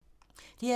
DR2